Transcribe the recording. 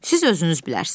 Siz özünüz bilərsiz.